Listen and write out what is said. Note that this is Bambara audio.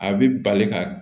A bɛ bali ka